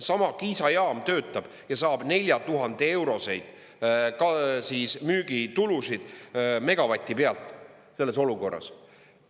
Sama Kiisa jaam töötab ja saab 4000-euroseid müügitulusid megavati pealt selles olukorras.